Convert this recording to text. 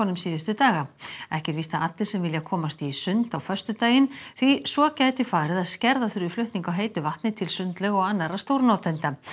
síðustu daga ekki er víst að allir sem vilja komist í sund á föstudaginn því svo gæti farið að skerða þurfi flutning á heitu vatni til sundlauga og annarra stórnotenda